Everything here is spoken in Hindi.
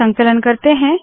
संकलन करते है